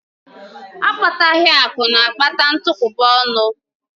Akpataghi akụ na-akpata ntukwuba ọnụ